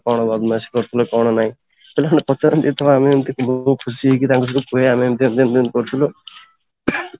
କ'ଣ ବଦମାସି କରୁଥିଲ କ'ଣ ନାଇଁ ତ ପଚାରନ୍ତି ତ ଆମେ ଏମିତି ମୁଁ ବହୁତ ଖୁସି ହେଇକି ତାଙ୍କ ସହିତ ପୁରା ଏମିତି ଏମିତି କରୁଥିଲୁ